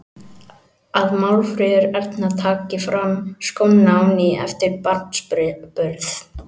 Að Málfríður Erna taki fram skóna á ný eftir barnsburð.